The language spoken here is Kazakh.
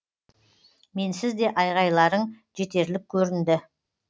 менсіз де айғайларың жетерлік көрінді